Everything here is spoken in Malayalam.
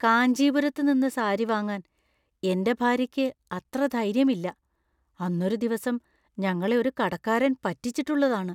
കാഞ്ചീപുരത്ത് നിന്ന് സാരി വാങ്ങാൻ എൻ്റെ ഭാര്യക്ക് അത്ര ധൈര്യം ഇല്ല. അന്നൊരു ദിവസം ഞങ്ങളെ ഒരു കടക്കാരൻ പറ്റിച്ചിട്ടുള്ളതാണ്.